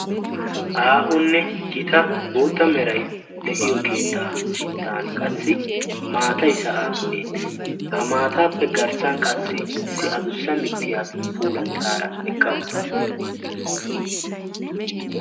aahunne gita bootta merai de'iyo keettaa sinttan qassi maatai saan beettees ha maataappe garssan qassi issi adussa mittiya puulattaara eqqa uttaasu